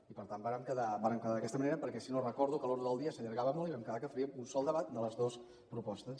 i per tant vàrem quedar d’aquesta manera perquè si no recordo que l’ordre del dia s’allargava molt i vam quedar que faríem un sol debat de les dues propostes